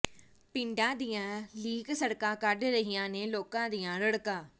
ਪਿੰਡਾਂ ਦੀਆਂ ਲਿੰਕ ਸੜਕਾਂ ਕੱਢ ਰਹੀਆਂ ਨੇ ਲੋਕਾਂ ਦੀਆਂ ਰੜਕਾਂ